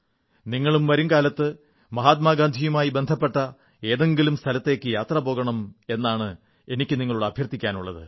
നിങ്ങളും വരുംകാലത്ത് മഹാത്മാഗാന്ധിയുമായി ബന്ധപ്പെട്ട ഏതെങ്കിലും സ്ഥലത്തേക്ക് യാത്ര പോകണം എന്നാണ് എനിക്ക് നിങ്ങളോട് അഭ്യർഥിക്കാനുള്ളത്